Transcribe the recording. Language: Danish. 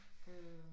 Øh